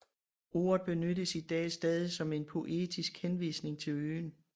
Ordet benyttes i dag stadig som en poetisk henvisning til øen